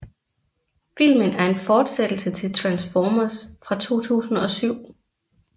Filmen er en fortsættelse til Transformers fra 2007